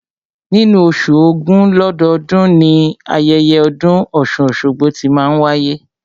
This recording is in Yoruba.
Nínú oṣù ògún lọ́dọọ́dun, ni ayẹyẹ ọdún ọ̀ṣun-oṣogbo tí máa n wáyé